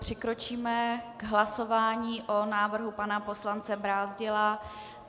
Přikročíme k hlasování o návrhu pana poslance Brázdila.